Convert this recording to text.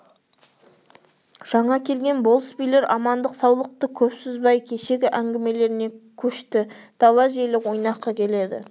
жаңа келген болыс билер амандық-саулықты көп созбай кешегі әңгімелеріне кешті дала желі ойнақы келеді